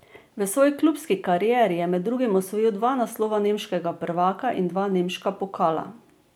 V svoji klubski karieri je med drugim osvojil dva naslova nemškega prvaka in dva nemška pokala.